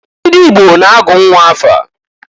Ndị Igbo na-agụ nnwa afa.